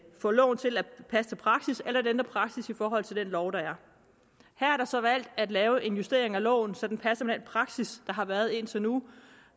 få loven til at passe til praksis eller ændre praksis i forhold til den lov der er her er der så valgt at lave en justering af loven så den passer med den praksis der har været indtil nu